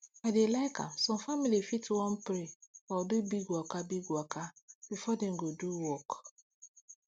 i dey like am some family fit wan pray or do big waka big waka before dem go do work